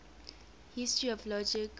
history of logic